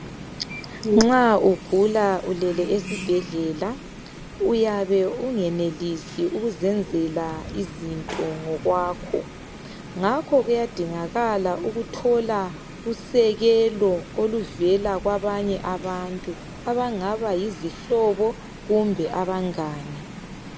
Nxa ugula ulele esibhedlela, uyabe ungenelisi ukuzenzela izinto ngokwakho. Ngakho kuyadingakala ukuthola usekelo oluvela kwabanye abantu, abangaba yizihlobo kumbe abangane.